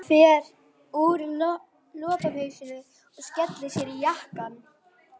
Hann fer úr lopapeysunni og skellir sér í jakkann.